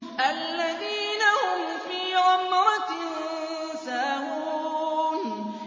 الَّذِينَ هُمْ فِي غَمْرَةٍ سَاهُونَ